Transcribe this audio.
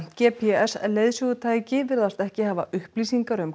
g p s leiðsögutæki virðast ekki hafa upplýsingar um